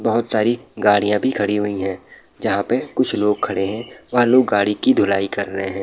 बहुत सारी गाड़ियाँ भी खड़ी हुई हैं जहाँ पे कुछ लोग खड़े हैं वहाँ लोग गाड़ी की धुलाई कर रहें हैं।